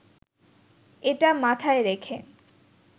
এটা মাথায় রেখে